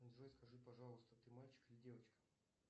джой скажи пожалуйста ты мальчик или девочка